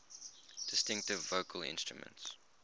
distinctive vocal instrument